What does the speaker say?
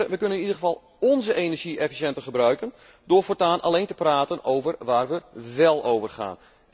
Wij kunnen in ieder geval onze energie efficiënter gebruiken door voortaan alleen te praten over waar wij wel over gaan.